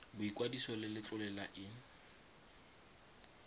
boikwadiso le letlole la in